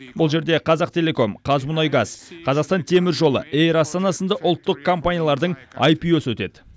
бұл жерде қазақтелеком қазмұнайгаз қазақстан темір жолы эйр астана сынды ұлттық компаниялардың аипио сы өтеді